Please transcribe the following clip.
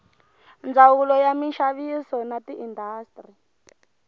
ndzawulo ya minxaviso na tiindastri